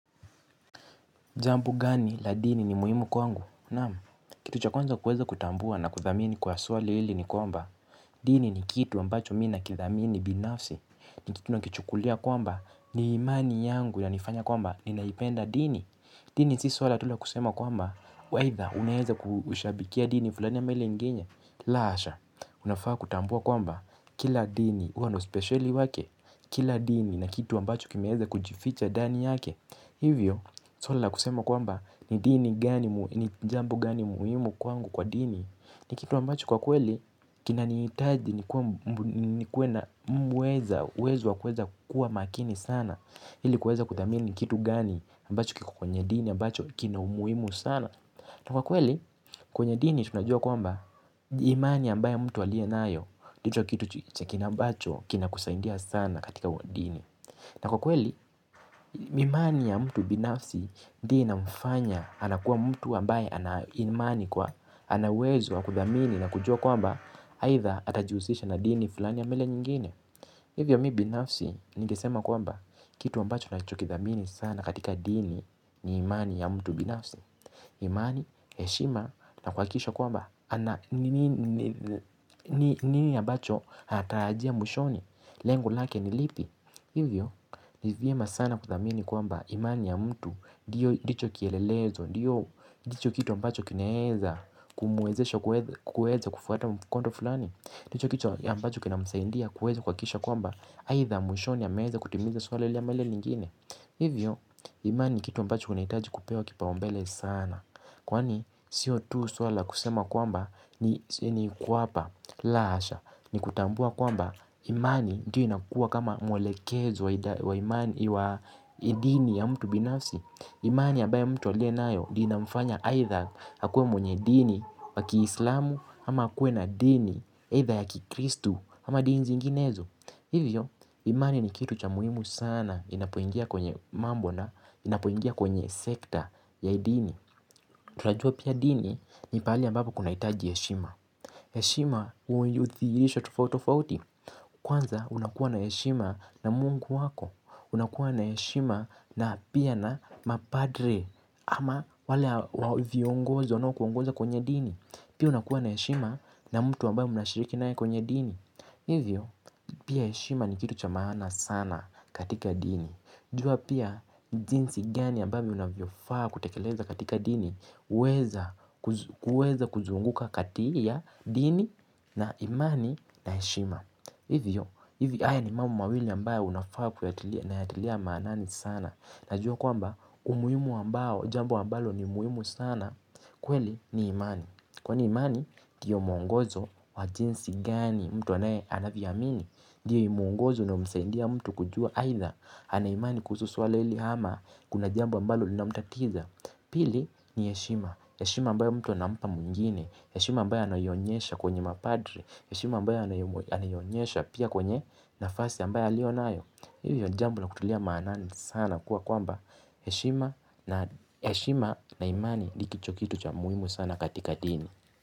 Jambo gani la dini ni muhimu kwangu? Naam kitu cha kwanza kuweza kutambua na kudhamini kwa swali hili ni kwamba, dini ni kitu ambacho mimi nakithamini binafsi, ni kitu nakichukulia kwamba, ni imani yangu yanifanya kwamba, ninaipenda dini, dini si swala tu la kusema kwamba, aidha unaweza kushabikia dini fulani ama ile ingine, la hasha, unafaa kutambua kwamba, kila dini, huwa na uspesheli wake, kila dini na kitu ambacho kimeweza kujificha ndani yake, hivyo, swala la kusema kwamba, ni dini gani, ni jambo gani muhimu kwangu kwa dini. Ni kitu ambacho kwa kweli, kinanihitaji nikuwe na uwezo, wa kuweza kuwa makini sana ili kuweza kudhamini kitu gani, ambacho kiko kwenye dini, ambacho kina umuhimu sana. Na kwa kweli, kwenye dini tunajua kwamba, imani ambayo mtu aliyo nayo ndicho kitu ambacho, kinakusaidia sana katika kwa dini. Na kwa kweli, imani ya mtu binafsi ndiyo inamfanya anakuwa mtu ambaye ana imani kuwa ana uwezo wa kudhamini na kujua kwamba aidha atajihusisha na dini fulani ama ile nyingine. Hivyo mimi binafsi ningesema kwamba kitu ambacho ninacho kidhamini sana katika dini ni imani ya mtu binafsi. Imani, heshima na kuhakikisha kwamba nini ambacho anatarajia mwishoni lengo lake ni lipi. Hivyo, ni vyema sana kudhamini kwamba imani ya mtu ndicho kielelezo, ndiyo kitu ambacho kinaweza kumuwezesha kufuata mkondo fulani. Ndicho kitu ambacho kina msaidia kuweza kuhakikisha kwamba, aidha mwishoni ameweza kutimiza swala hili ama ile nyingine. Hivyo, imani kitu ambacho unahitaji kupewa kipaumbele sana. Kwani sio tu swala la kusema kwamba ni kuhapa la hasha ni kutambua kwamba imani ndiyo inakuwa kama mwelekezo wa dini ya mtu binafsi. Imani ya ambayo mtu aliyonayo ndio inamfanya aidha akuwe mwenye dini wakiislamu ama akuwe na dini aidha ya kikristu ama dini zinginezo. Hivyo imani ni kitu cha muhimu sana inapoingia kwenye mambo na inapoingia kwenye sekta ya dini. Tunajua pia dini ni pahali ambapo kunahitaji heshima. Heshima hudhiirisha tofauti tofauti. Kwanza unakuwa na heshima na mungu wako. Unakuwa na heshima na pia na mapadre ama wale viongozi wanao kuongoza kwenye dini. Pia unakuwa na heshima na mtu ambaye mnashiriki naye kwenye dini. Hivyo, pia heshima ni kitu cha maana sana katika dini. Jua pia, jinsi gani ambavyo unavyofaa kutekeleza katika dini huweza kuzunguka kati ya dini na imani na heshima. Hivyo haya ni mambo mawili ambayo unafaa kuyatilia maanani sana. Najua kwamba, umuhimu ambao, jambo ambalo ni muhimu sana kweli ni imani. Kwani imani, ndiyo muongozo wa jinsi gani mtu anaye anavyo amini ndiyo muongozo unaomsaidia mtu kujua aidha ana imani kuhusu swala hili ama kuna jambo ambalo linamtatiza. Pili ni heshima, heshima ambayo mtu anampa mwingine heshima ambayo anaionyesha kwenye mapadre heshima ambayo anaionyesha pia kwenye nafasi ambayo aliyonayo hiyo jambo la kutilia maanani sana kuwa kwamba heshima na imani ndicho kitu cha muhimu sana katika dini.